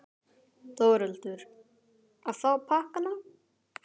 Þórhildur: Að fá pakkana?